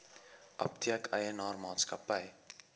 apteek eienaar maatskappy